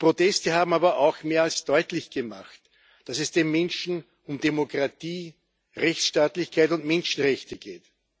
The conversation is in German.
Die Proteste haben aber auch mehr als deutlich gemacht, dass es den Menschen um Demokratie, Rechtsstaatlichkeit und Menschenrechte geht.